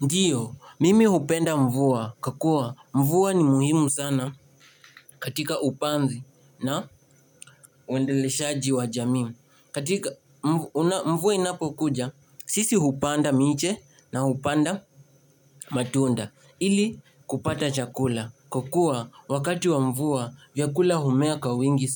Ndio, mimi hupenda mvua, kwakua mvua ni muhimu sana katika upanzi na uendeleshaji wa jamii. Katika mvua inapo kuja, sisi hupanda miche na hupanda matunda. Ili kupata chakula, kwakua wakati wa mvua vyakula humea kwawingi